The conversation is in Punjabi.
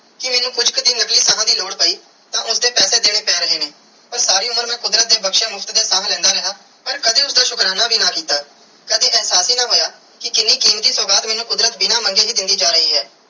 ਕੇ ਮੁਸ਼ਕ ਜਿਵੇ ਅਗਲਾ ਸਾਹ ਦੀ ਲੋੜ ਪੈ ਤੇ ਉਸਦੇ ਪੈਸੇ ਦੇਣੇ ਪੈਨ ਲਗੇ ਨੇ ਪਾਰ ਸਾਰੀ ਉਮਰ ਮੈਂ ਕੁਦਰਤ ਦੀਆ ਬਖਸ਼ਿਆ ਮੁਫ਼ਤ ਦੀਆ ਸਾਹ ਲੈਂਦਾ ਰਿਆ ਪਾਰ ਕਦੀ ਉਸਦਾ ਸ਼ੁਕਰਾਨਾ ਨਾਈ ਅੱਡਾ ਕੀਤਾ ਕਦੀ ਇਹਸਾਸ ਹੀ ਨਾ ਹੋਇਆ ਕੇ ਕੀਨੀ ਕੀਮਤੀ ਸੁਗਾਤ ਮੇਨੂ ਕੁਦਰਤ ਬਿਨਾ ਮੰਗੈ ਵੀ ਦੇਂਦੀ ਜਾ ਰਾਏ ਆ.